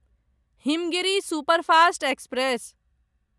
Himgiri superfast express